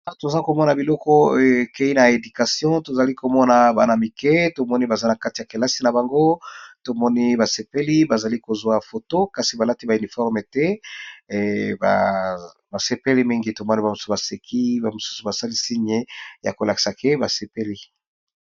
Toza komona bana mike baza na kilasi na bango tomoni basepeli baza ko kanga ba foto kasi balati uniforme te, basepeli mingi.